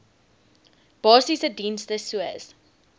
basiese dienste soos